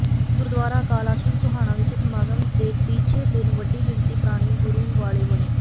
ਗੁਰਦੁਆਰਾ ਅਕਾਲ ਆਸ਼ਰਮ ਸੋਹਾਣਾ ਵਿਖੇ ਸਮਾਗਮ ਦੇ ਤੀਜੇ ਦਿਨ ਵੱਡੀ ਗਿਣਤੀ ਪ੍ਰਾਣੀ ਗੁਰੂ ਵਾਲੇ ਬਣੇ